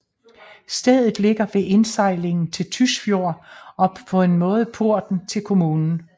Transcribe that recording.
Stedet ligger ved indsejlingen til Tysfjord og er på en måde porten til kommunen